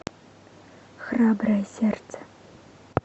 храброе сердце